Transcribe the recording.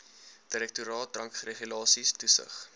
direktoraat drankregulasies toesig